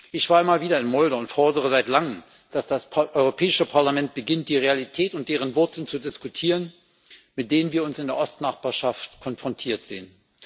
Ich war immer wieder in Moldau und fordere seit langem, dass das Europäische Parlament beginnt, die Realitäten und deren Wurzeln zu diskutieren, mit denen wir uns in der Ostnachbarschaft konfrontiert sehen.